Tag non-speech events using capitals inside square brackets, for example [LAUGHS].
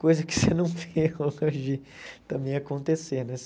Coisa que você não vê hoje [LAUGHS] também acontecer, né?